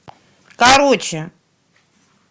короче